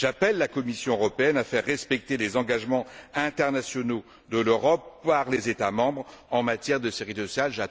J'appelle la Commission européenne à faire respecter les engagements internationaux de l'Europe par les États membres en matière de sécurité sociale.